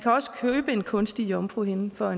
også købe en kunstig jomfruhinde for